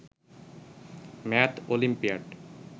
math olympiad